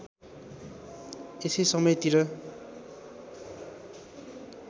यसै समयतिर